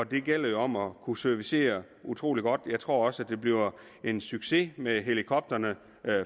det gælder jo om at kunne servicere utrolig godt jeg tror også at det bliver en succes med helikopterne